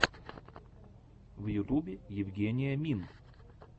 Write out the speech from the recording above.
в ютубе евгения мин